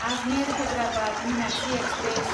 Ajmer Hyderabad Meenakshi express